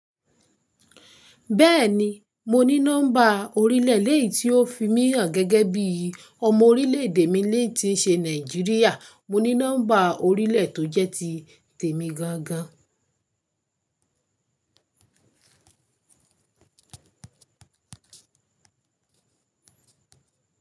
Bẹ́ẹ̀ni, mo ní nọ́mbà orílẹ̀ le yi tí ó fi mí hàn gẹ́gẹ́ bí ọmọ orílẹ̀-èdè mi lè ti ṣe Nàìjíríà. Mo ní nọ́mbà orílẹ̀ tó jẹ́ ti tèmi gan gan.